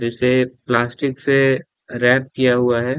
जिसे प्लास्टिक से रैप किया हुआ है।